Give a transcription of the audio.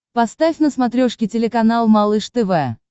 поставь на смотрешке телеканал малыш тв